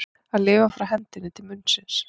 Að lifa frá hendinni til munnsins